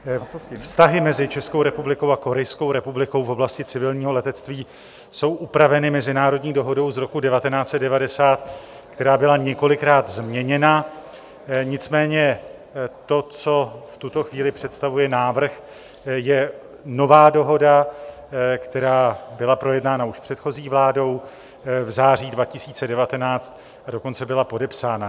Vztahy mezi Českou republikou a Korejskou republikou v oblasti civilního letectví jsou upraveny mezinárodní dohodou z roku 1990, která byla několikrát změněna, nicméně to, co v tuto chvíli představuje návrh, je nová dohoda, která byla projednána už předchozí vládou v září 2019, a dokonce byla podepsána.